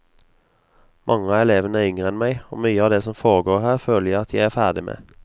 Mange av elevene er yngre enn meg, og mye av det som foregår her, føler jeg at jeg er ferdig med.